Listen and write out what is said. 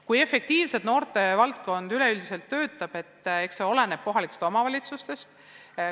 Kui efektiivselt noortevaldkond töötab, see oleneb kohalikest omavalitsustest.